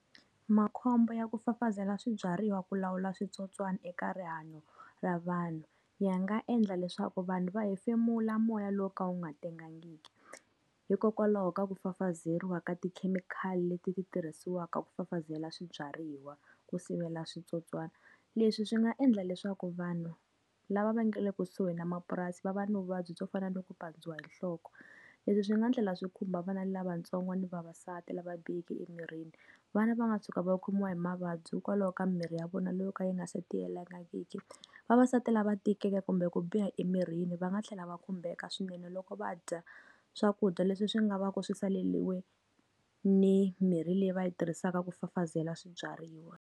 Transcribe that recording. Makhombo ya ku fafazela swibyariwa ku lawula switsotswana eka rihanyo ra vanhu, ya nga endla leswaku vanhu va hefemula moya lowu ka wu nga tengangiki. Hikokwalaho ka ku fafazeriwa ka tikhemikhali leti ti tirhisiwaka ku fafazela swibyariwa ku sivela switsotswana. Leswi swi nga endla leswaku vanhu lava va nga le kusuhi na mapurasi va va na vuvabyi byo fana no ku pandziwa hi nhloko. Leswi swi nga thlela swi khumba vana lavatsongo ni vavasati lava biheke emirini. Vana va nga tshuka va u khomiwa hi mavabyi hikwalaho ka mirhi ya vona loyi ka yi nga se tiyelangiki. Vavasati lava tikeke kumbe ku biha emirini va nga tlhela va khumbeka swinene loko va dya swakudya leswi swi nga va ku swi saleriwe ni mirhi leyi va yi tirhisaka ku fafazela swibyariwa.